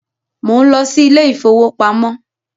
Mò ń lọ sí ilé ìfowópamọ́